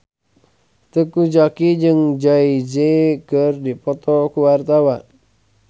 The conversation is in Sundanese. Teuku Zacky jeung Jay Z keur dipoto ku wartawan